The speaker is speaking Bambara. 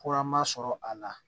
sɔrɔ a la